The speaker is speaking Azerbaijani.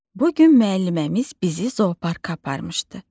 Bu gün müəlliməmiz bizi zooparka aparmışdı.